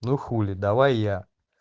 ну хули давай я